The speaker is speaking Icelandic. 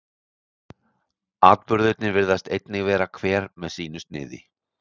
atburðirnir virðist einnig vera hver með sínu sniði